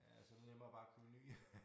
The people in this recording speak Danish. Ja så det nemmere bare at købe en ny